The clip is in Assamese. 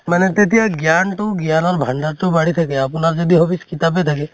মানে তেতিয়া জ্ঞান তো জ্ঞানৰ ভান্দাৰ তো বাঢ়ি থাকে । আপোনাৰ য্দি hobbies কিতাপেই থাকে